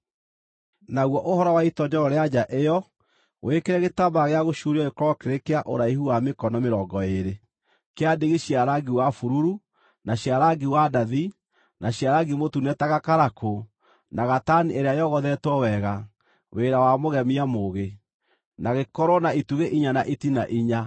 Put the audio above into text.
“Naguo ũhoro wa itoonyero rĩa nja ĩyo, wĩkĩre gĩtambaya gĩa gũcuurio gĩkorwo kĩrĩ kĩa ũraihu wa mĩkono mĩrongo ĩĩrĩ, kĩa ndigi cia rangi wa bururu, na cia rangi wa ndathi, na cia rangi mũtune ta gakarakũ, na gatani ĩrĩa yogothetwo wega, wĩra wa mũgemia mũũgĩ, na gĩkorwo na itugĩ inya na itina inya.